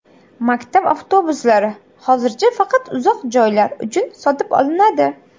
Maktab avtobuslari hozircha faqat uzoq joylar uchun sotib olinadi.